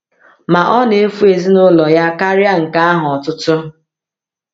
Ma ọ na-efu ezinụlọ ya karịa nke ahụ ọtụtụ.